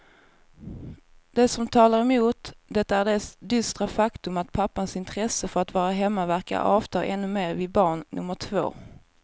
Det som talar emot det är det dystra faktum att pappans intresse för att vara hemma verkar avta ännu mer vid barn nummer två.